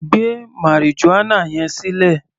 Gbé marijuana yẹn sílẹ̀!